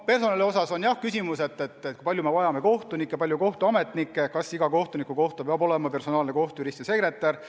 Personali osas on jah küsimus, kui palju me vajame kohtunikke, kui palju kohtuametnikke, kas iga kohtuniku kohta peab olema personaalne kohtujurist ja sekretär.